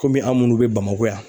Komi an' munnu be Bamako yan